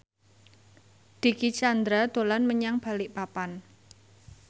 Dicky Chandra dolan menyang Balikpapan